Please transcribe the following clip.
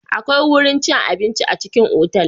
Akwai wurin cin abinci a cikin otal.